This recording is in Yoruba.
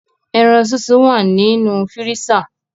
Eran sisun wa ninu firisa